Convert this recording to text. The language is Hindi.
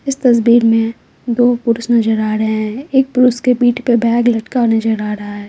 इस तस्वीर में दो पुरुष नजर आ रहे हैं एक पुरुष के पीठ पर बैग लटका हुआ नजर आ रहा है।